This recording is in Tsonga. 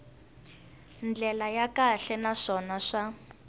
ndlela ya kahle naswona swa